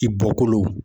I bɔkolo